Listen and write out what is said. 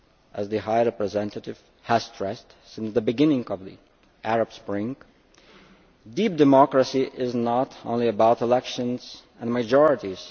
As the High Representative has stressed since the beginning of the Arab Spring, deep democracy is not only about elections and majorities.